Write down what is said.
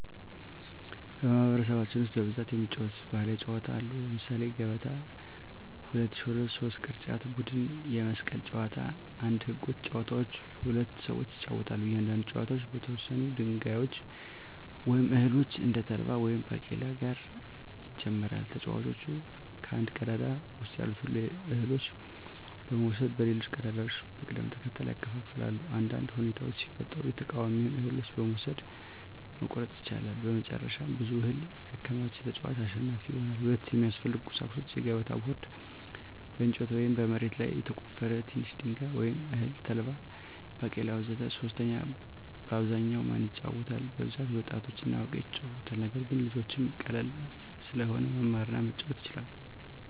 በማኅበረሰባችን ውስጥ በብዛት የሚጫወቱ ባሕላዊ ጨዋታዎች አሉ። ለምሳሌ 1, ገበታ 2, ሾለት 3, ቅርጫት ቡድን የመስቀል ጨዋታ 1. ህጎች : ጨዋታው በሁለት ሰዎች ይጫወታል። እያንዳንዱ ተጫዋች ከተወሰኑ ድንጋዮች ወይም እህሎች (እንደ ተልባ ወይም ባቄላ) ጋር ይጀምራል። ተጫዋቹ ከአንድ ቀዳዳ ውስጥ ያሉትን እህሎች በመውሰድ በሌሎች ቀዳዳዎች በቅደም ተከተል ያከፋፍላል። አንዳንድ ሁኔታዎች ሲፈጠሩ የተቃዋሚውን እህሎች መውሰድ (መቆረጥ) ይቻላል። መጨረሻ ብዙ እህል ያከማቸ ተጫዋች አሸናፊ ይሆናል። 2. የሚያስፈልጉ ቁሳቁሶች: የገበታ ቦርድ (በእንጨት ወይም በመሬት ላይ የተቆፈረ) ትንሽ ድንጋይ ወይም እህል (ተልባ፣ ባቄላ ወዘተ) 3. በአብዛኛው ማን ይጫወታል? በብዛት ወጣቶችና አዋቂዎች ይጫወቱታል። ነገር ግን ልጆችም ቀላል ስለሆነ መማር እና መጫወት ይችላሉ።